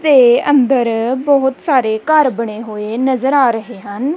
ਤੇ ਅੰਦਰ ਬਹੁਤ ਸਾਰੇ ਘਰ ਬਣੇ ਹੋਏ ਨਜ਼ਰ ਆ ਰਹੇ ਹਨ।